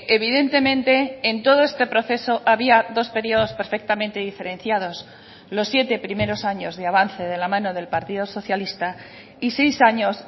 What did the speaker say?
evidentemente en todo este proceso había dos periodos perfectamente diferenciados los siete primeros años de avance de la mano del partido socialista y seis años